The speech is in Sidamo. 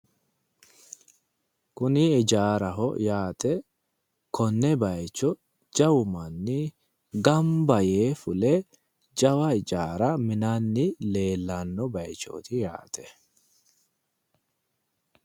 kuni hijaaraho yaate konne bayiicho jawu manni gamba yee fule jawa hijaara minanni leellanno bayichooti yaate